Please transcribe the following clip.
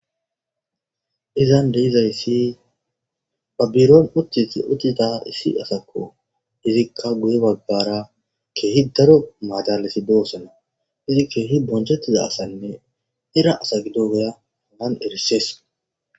izan deizayssi babbiroon uttisi utita issi asakko izikka guye bagbara keehi daro maadalasi doosana izi keehi bonchettida asanne era asa gido goya hanan erissees